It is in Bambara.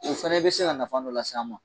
O fɛnɛ bi se ka nafa dɔ las'an ma